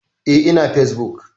Eh, ina fesbuk.